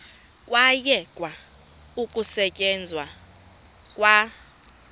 kwayekwa ukusetyenzwa kwa